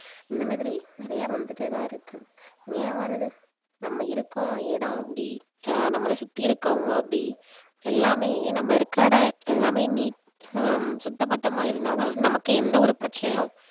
இந்த மாதிரி நிறைய வந்துட்டே தான் இருக்கு ஏன் வருது நம்ம இருக்கும் இடம் அப்படி அஹ் நம்மள சுத்தி இருக்கவங்க அப்படி எல்லாமே நம்ம இருக்கிற இடம் எல்லாமே நீ~ ஹம் சுத்த பத்தமா இருந்தா தான் நமக்கு எந்த ஒரு பிரச்சனையும்